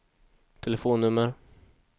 telefonnummer